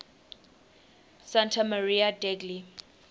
santa maria degli